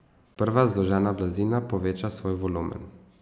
Sprva zložena blazina poveča svoj volumen.